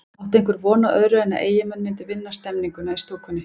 Átti einhver von á öðru en að Eyjamenn myndu vinna stemninguna í stúkunni?